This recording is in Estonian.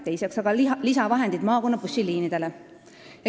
Teiseks sammuks on aga lisavahendid maakonnabussiliinidele.